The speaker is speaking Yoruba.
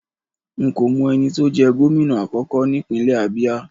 Nko mo eni to je gomina akoko nipinle Abia